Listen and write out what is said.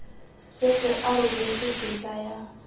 setse a rebotse tetla ya